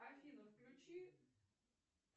афина включи